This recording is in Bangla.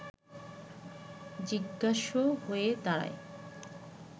জিজ্ঞাস্য হয়ে দাঁড়ায়